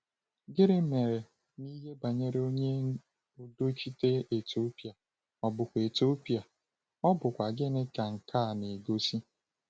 Gịnị mere n’ihe banyere onye udochite Etiopịa, ọ̀ bụkwa Etiopịa, ọ̀ bụkwa gịnị ka nke a na-egosi?